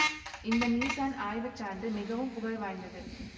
இந்த மீசான் ஆய்வுச்சான்று மிகவும் புகழ் வாய்ந்தது